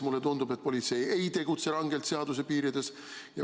Mulle tundub, et politsei ei tegutse rangelt seaduse piirides.